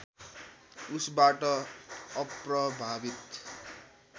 उसबाट अप्रभावित